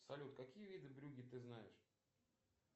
салют какие виды брюгге ты знаешь